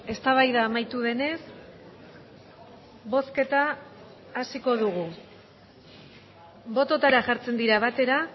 eztabaida amaitu denez bozketa hasiko dugu bototara jartzen dira batera